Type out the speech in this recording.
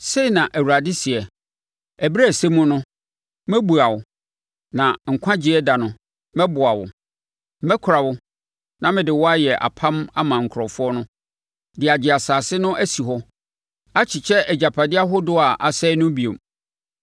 Sei na Awurade seɛ: “Ɛberɛ a ɛsɛ mu no, mɛbua wo, na nkwagyeɛ da no, mɛboa wo; mɛkora wo na mede wo ayɛ apam ama nkurɔfoɔ no, de agye asase no asi hɔ akyekyɛ agyapadeɛ ahodoɔ a asɛe no bio.